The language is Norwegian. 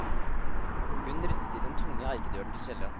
Hun ristet i den tunge eikedøren til kjelleren.